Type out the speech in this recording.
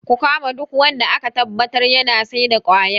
Ku kama duk wanda aka tabbatar yana saida kwaya